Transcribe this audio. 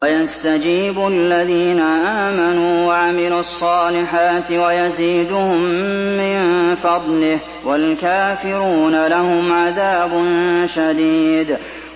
وَيَسْتَجِيبُ الَّذِينَ آمَنُوا وَعَمِلُوا الصَّالِحَاتِ وَيَزِيدُهُم مِّن فَضْلِهِ ۚ وَالْكَافِرُونَ لَهُمْ عَذَابٌ شَدِيدٌ